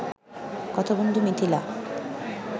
কথা বন্ধু মিথিলা